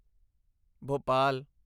Bhopal